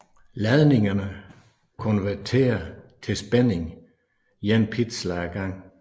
Ladningerne konverterer til spænding én pixel ad gangen